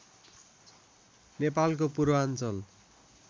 नेपालको पूर्वाञ्चल